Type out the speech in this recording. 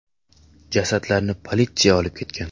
Jasadlarni politsiya olib ketgan.